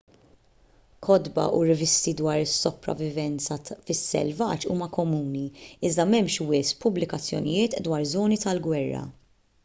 kotba u rivisti dwar is-sopravivenza fis-selvaġġ huma komuni iżda m'hemmx wisq pubblikazzjonijiet dwar żoni tal-gwerra